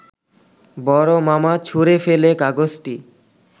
বড় মামা ছুঁড়ে ফেলে কাগজটি